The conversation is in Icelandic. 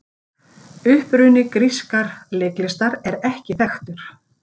Uppruni grískar leiklistar er ekki þekktur.